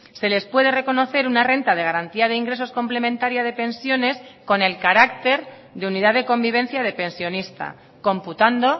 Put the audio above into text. se les puede reconocer una renta de garantía de ingresos complementaria de pensiones con el carácter de unidad de convivencia de pensionista computando